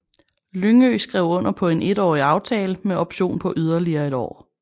Lyngø skrev under på en etårig aftale med option på yderligere et år